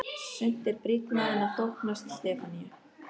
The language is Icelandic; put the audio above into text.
Sumt er brýnna en að þóknast Stefaníu.